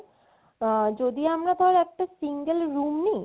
আ~ যদি আমরা ধর একটা single room নেই